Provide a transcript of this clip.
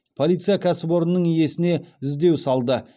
полиция кәсіпорынның иесіне іздеу салды